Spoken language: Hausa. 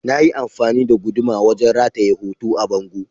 Na yi amfani da guduma wajen rataye hoto a bango.